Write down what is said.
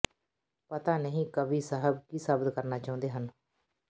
ਪਤਾ ਨਹੀਂ ਕਵੀ ਸਾਹਬ ਕੀ ਸਾਬਿਤ ਕਰਨਾ ਚਾਹੁੰਦੇ ਹਨ